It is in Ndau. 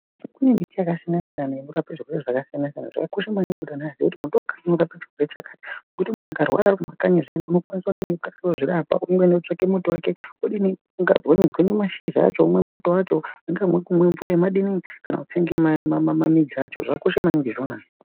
Kune miti yakasiyana siyana inorapa zviro zvakasiyana siyana. Zvakakosha maningi kuti antu kuti muti wakati unorape chakati zvekuti muntu akararwe arikumakanyi zviyani unokwanise kudini kukasire kuzvirapa umweni otsvake muti wake odini ogwenye mashizha acho umwe mutombo wacho kungave kumwa mvura yemadini kana kutsenge midzi yacho zvakakosha maningi izvonazvo.